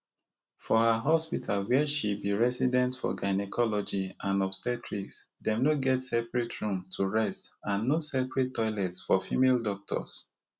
for her hospital wia she be resident for gynaecology and obstetrics dem no get separate room to rest and no separate toilets for female doctors